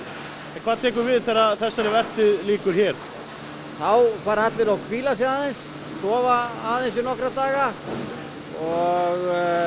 hvað tekur við þegar þessari vertíð lýkur hér þá fara allir og hvíla sig aðeins sofa aðeins í nokkra daga og